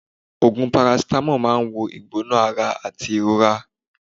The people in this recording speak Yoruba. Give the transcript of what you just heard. Ogùn parasitamo máa ń wo ìgbóná-ara àti ìrora.